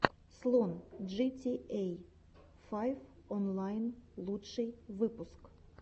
слон джитиэй файв онлайн лучший выпуск